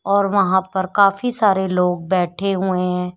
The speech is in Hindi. और वहां पर काफी सारे लोग बैठे हुए हैं।